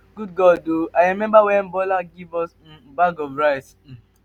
i dey grateful to um mma. na she make me wetin i be um today.